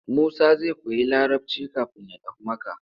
Musa zai koyi Larabci kafin ya tafi Makka.